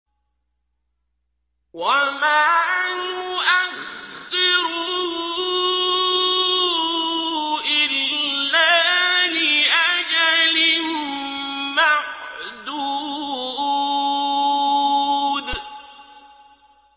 وَمَا نُؤَخِّرُهُ إِلَّا لِأَجَلٍ مَّعْدُودٍ